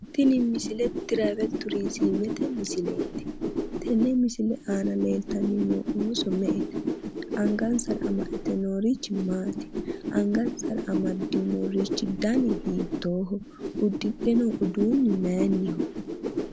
Tini misile tiraavel turiizimete misileeti. tenne misile aana leeltanni noo ooso me"ete? angansara amadde noorichi maati? angansara amaddinorichi dani hiittooho? uddidhe noo uduunni maayiinniho?